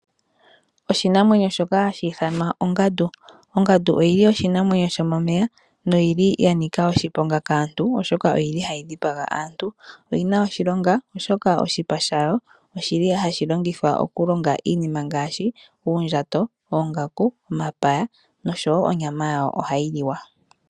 Oshinamwenyo shoka hashi ithanwa ongandu. Ongandu oyili oshinamwenyo shomomeya noyili ya nika oshiponga kaantu oshoka oyili hayi dhipaga aantu. Oyina oshilonga oshoka oshipa shayo oshili hashi longithwa okulonga iinima ngaashi uundjato, oongaku, omapaya nonyama yayo ohayi liwa.